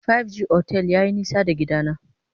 Five G otel yayi nisa da gidana.